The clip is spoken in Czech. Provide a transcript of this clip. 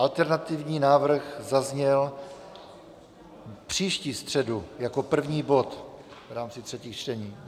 Alternativní návrh zazněl příští středu jako první bod v rámci třetích čtení.